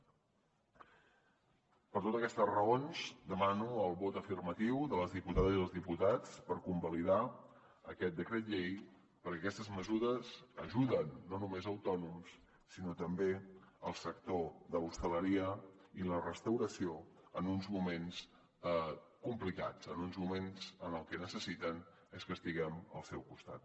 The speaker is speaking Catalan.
per totes aquestes raons demano el vot afirmatiu de les diputades i dels diputats per convalidar aquest decret llei perquè aquestes mesures ajuden no només autònoms sinó també el sector de l’hostaleria i la restauració en uns moments complicats en uns moments en els que el que necessiten és que estiguem al seu costat